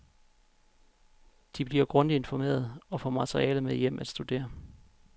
De bliver grundigt informeret, og får materiale med hjem at studere.